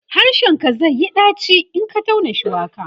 harshen ka zaiyi ɗaci in Ka tauna shuwaka